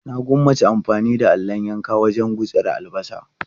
Na gwammaci amfani da allon yanka wajen gutsira albasa.